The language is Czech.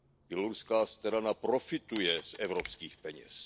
Běloruská strana profituje z evropských peněz.